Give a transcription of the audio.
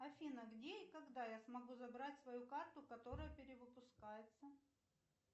афина где и когда я смогу забрать свою карту которая перевыпускается